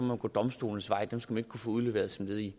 man gå domstolenes vej dem skal man ikke kunne få udleveret som led i